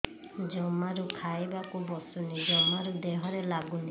ଜମାରୁ ଖାଇବାକୁ ବସୁନି ଜମାରୁ ଦେହରେ ଲାଗୁନି